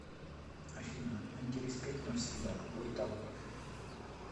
афина антиреспект навсегда ютуб